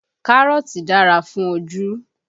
Kárọ̀tì dára fún ojú